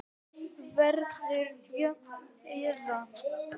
Verður hún jöfn eða?